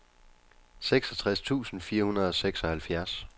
seksogtres tusind fire hundrede og seksoghalvfjerds